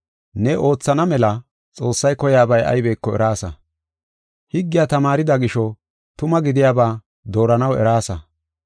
Ne oothana mela Xoossay koyiyabay aybeko eraasa. Higgiya tamaarida gisho, tuma gidiyaba dooranaw eraasa.